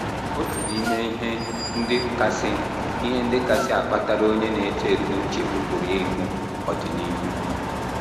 “ Otu n’ime ihe ndị kasị ihe ndị kasị akpatara onye na - eto eto nchegbu pụrụ ịbụ ọdịnihu.